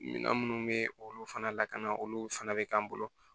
Minan minnu bɛ olu fana lakana olu fana bɛ k'an bolo